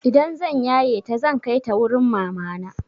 Idan zan yaye ta zan kai ta wurin mamana.